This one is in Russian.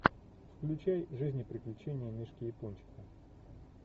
включай жизнь и приключения мишки япончика